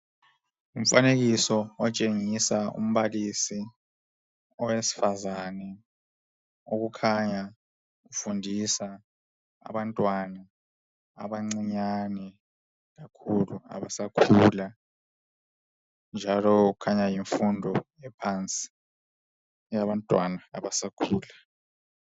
Ngumfanekiso otshengisa umbalisi owesifazane okukhanya efundisa abantwana abancinyane kakhulu basakhula njalo kukhanya yimfundo ephansi eyabantwana abasakhula.